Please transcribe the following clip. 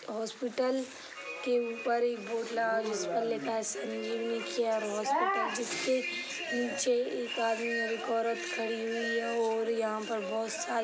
hospital के ऊपर एक बोर्ड लगा है जिसपर लिखा है संजीवनी केयर हॉस्पिटल जिसके निचे एक आदमी और एक औरत खड़ी हुई है और यहाँ पर बहुत सारी --